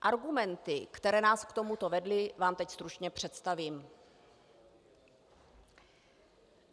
Argumenty, které nás k tomuto vedly, vám teď stručně představím.